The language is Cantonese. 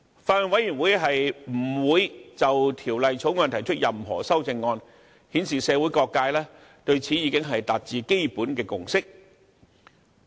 法案委員會不會就《條例草案》提出任何修正案，顯示社會各界對此已經達致基本的共識。